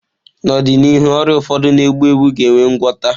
N'ọdịnihu, ọrịa ụfọdụ na-egbu egbu ga enwe ngwota.